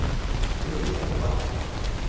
Urðarbakka